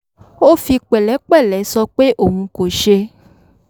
ó fi pẹ̀lẹ́pẹ̀lẹ́ sọ pé òun kò ṣe